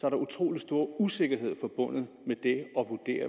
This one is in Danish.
er utrolig stor usikkerhed forbundet